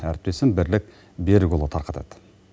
әріптесім бірлік берік ұлы тарқатады